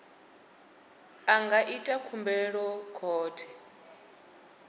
a nga ita khumbelo khothe